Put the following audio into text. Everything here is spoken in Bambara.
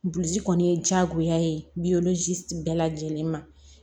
Buliji kɔni ye diyagoya ye bɛɛ lajɛlen ma